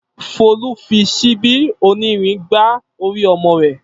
Folú fi ṣíbí onírin gbá orí ọmọ rẹ̀.